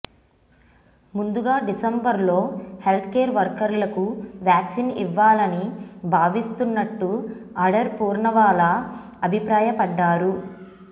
ముందుగా డిసెంబర్లో health care వర్కర్లకు వ్యాక్సిన్ ఇవ్వాలని భావిస్తున్నట్టు అడర్ పూర్నావాలా అభిప్రాయపడ్డారు